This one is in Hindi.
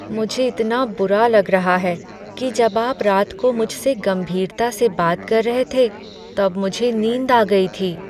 मुझे इतना बुरा लग रहा है कि जब आप रात को मुझसे गंभीरता से बात कर रहे थे, तब मुझे नींद आ गई थी।